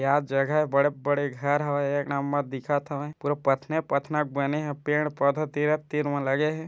क्या जघा बड़े-बड़े घर हवय एक नंबर दिखत हवय पूरा पथने पथना के बने हे पेड़-पौधे तीरे-तीर मा लगे हे।